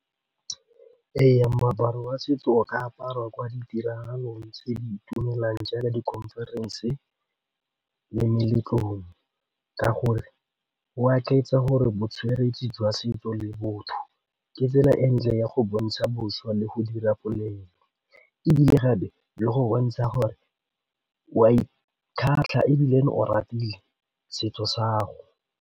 Ee, moaparo wa setso o ka aparwa kwa ditiragalong tse di itumelang jaaka di-conference le meletlong ka gore gore bo tshwere setso le botho ke tsela e ntle ya go bontsha bošwa le go dira bolemo ebile gape le go bontsha gore wa ikgatlha o ratile setso sa 'ago.